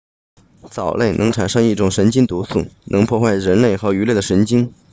藻类能产生一种神经毒素能破坏人类和鱼类的神经